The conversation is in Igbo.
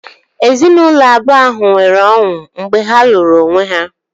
Ezinaụlọ abụọ ahụ nwere ọṅụ mgbe ha lụrụ onwe ha